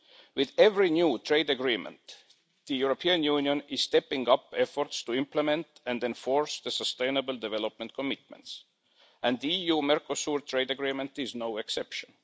With every new trade agreement, the European Union is stepping up efforts to implement and enforce sustainable development commitments, and the EU Mercosur trade agreement is no exception.